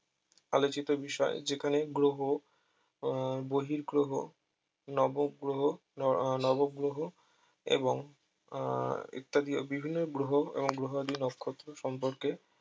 আলোচিত বিষয় যেখানে গ্রহ আহ বহিঃ গ্রহ নব গ্রহ নর ও নব গ্রহ এবং আহ ইত্যাদি ও বিভিন্ন গ্রহ এবং গ্রহাদি নক্ষত্র সম্পর্কে